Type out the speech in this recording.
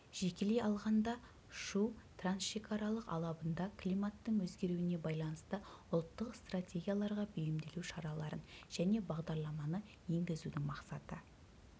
жекелей алғанда шу трансшекаралық алабында климаттың өзгеруіне байланысты ұлттық стратегияларға бейімделу шараларын және бағдарламаны енгізудің мақсаты